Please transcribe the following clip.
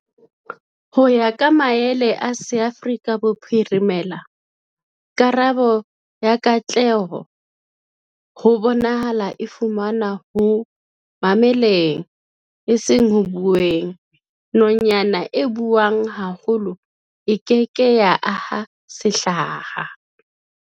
Ho ya ka maele a SeAfrika Bophirimela, karabo ya katleho ho bonahala e fumanwa ho mameleng, eseng ho bueng-Nonyana e buang haholo e ke ke ya aha sehlaha!